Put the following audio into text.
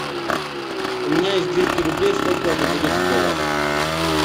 у меня есть двести рублей сколько это будет в долларах